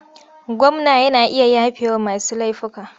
Gwamna yana iya yafewa masu laifuffuka.